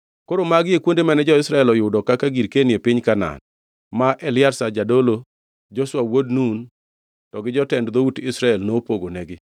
Koro magi e kuonde mane jo-Israel oyudo kaka girkeni e piny Kanaan, ma Eliazar jadolo, Joshua wuod Nun to gi jotend dhout Israel nopogonegi.